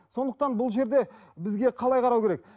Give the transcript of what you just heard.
сондықтан бұл жерде бізге қалай қарау керек